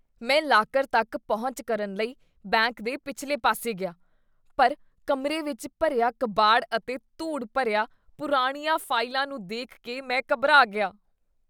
ਮੈਂ ਲਾਕਰ ਤੱਕ ਪਹੁੰਚ ਕਰਨ ਲਈ ਬੈਂਕ ਦੇ ਪਿਛਲੇ ਪਾਸੇ ਗਿਆ, ਪਰ ਕਮਰੇ ਵਿੱਚ ਭਰਿਆ ਕਬਾੜ ਅਤੇ ਧੂੜ ਭਰੀਆਂ ਪੁਰਾਣੀਆਂ ਫਾਈਲਾਂ ਨੂੰ ਦੇਖ ਕੇ ਮੈਂ ਘਬਰਾ ਗਿਆ।